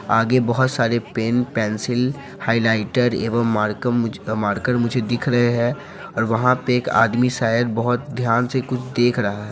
आगे बहुत सारे पेन पेंसिल हाइलाइटर एवं मार्कम मारकर मुझे दिख रहे है और वहाँ पे एक आदमी शायद बहुत ध्यान से कुछ देख रहा है।